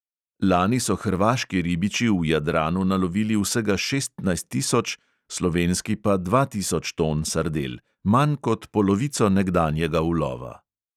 Lani so hrvaški ribiči v jadranu nalovili vsega šestnajst tisoč, slovenski pa dva tisoč ton sardel, manj kot polovico nekdanjega ulova.